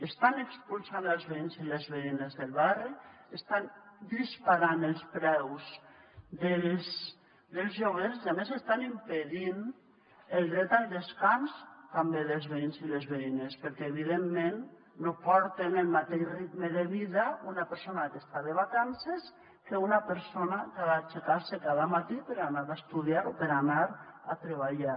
estan expulsant els veïns i les veïnes del barri estan disparant els preus dels lloguers i a més estan impedint el dret al descans també dels veïns i les veïnes perquè evidentment no porta el mateix ritme de vida una persona que està de vacances que una persona que ha d’aixecar se cada matí per anar a estudiar o per anar a treballar